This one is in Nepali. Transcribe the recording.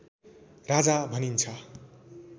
राजा भनिन्छ